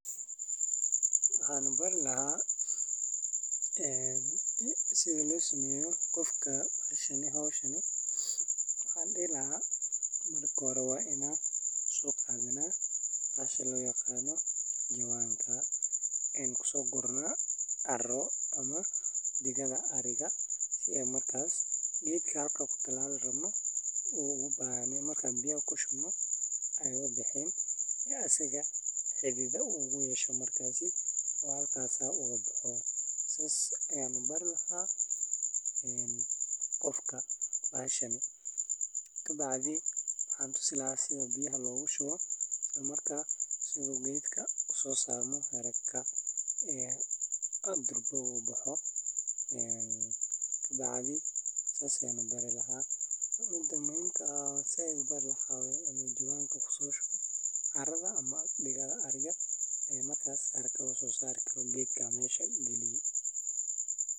Waxannu bari laha sitha losameyo qofka hoshani waxan dihi laha Marka hore waa in an soqadhana bahlka loyaqan jawan an kuso gurno caro gewdka halka kutalali rabno u ubaxo kadiib an biya kushubno si ee xididyihisa ubaxan tas sas ayan u bari laha qofka bahasha, kabacdi waxan bari laha sitha biyaha logu shubo geedka si u usosarmo haraka sas ayan u bari laha mida muhiim ka ah waxaa waye in jawan kuso shubo digadha ariga sa haraka usosari karo geedka mesha lagaliye.